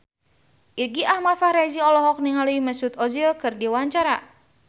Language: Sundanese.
Irgi Ahmad Fahrezi olohok ningali Mesut Ozil keur diwawancara